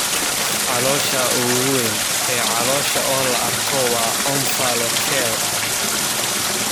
Caloosha ugu weyn ee caloosha oo la arko waa omphalocele.